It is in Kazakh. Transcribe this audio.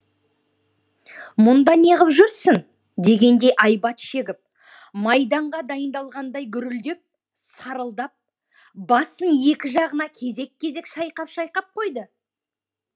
мұнда неғып жүрсің дегендей айбат шегіп майданға дайындалғандай гүрілдеп сарылдап басын екі жағына кезек кезек шайқап шайқап қойды